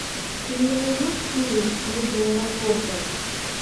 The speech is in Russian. ты мне найдешь фильм будни аэропорта